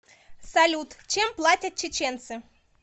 салют чем платят чеченцы